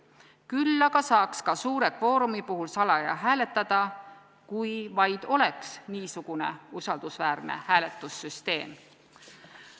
Küll aga saaks ka suure kvoorumi puhul salaja hääletada, kui vaid oleks usaldusväärne hääletussüsteem.